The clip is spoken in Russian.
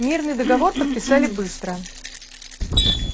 мирный договор подписали быстро